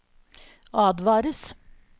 advares